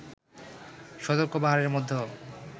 সতর্ক পাহারার মধ্যেও